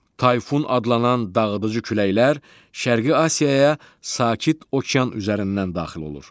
Tayfun adlanan dağıdıcı küləklər Şərqi Asiyaya Sakit Okean üzərindən daxil olur.